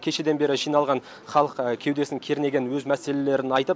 кешеден бері жиналған халық кеудесін кернеген өз мәселелерін айтып